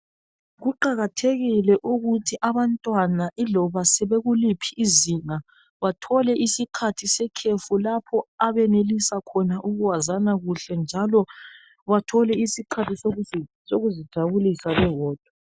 Kuqakathekile ukuthi abantwana iloba sebekuliphi izinga bathole isikhathi se khefu lapho ebenelisa khona ukwazana kuhle njalo bathole isikhathi sekuzijabulisa bebodwa